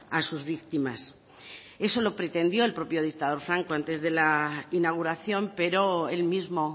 a sus víctimas eso lo pretendió el propio dictador franco antes de la inauguración pero él mismo